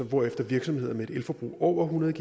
hvorefter virksomheder med et elforbrug på over hundrede